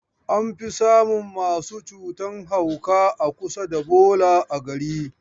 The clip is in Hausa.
An fi samun masu cutan hauka a kusa da bola a gari.